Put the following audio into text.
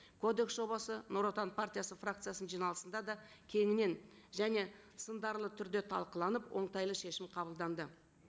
кодекс жобасы нұр отан партиясы фракциясының жиналысында да кеңінен және сындарлы түрде талқыланып оңтайлы шешім қабылданды